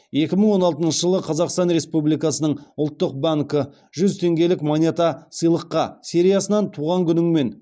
екі мың он алтыншы жылы қазақстан республикасының ұлттық банкі жүз теңгелік монета сыйлыққа сериясынан туған күніңмен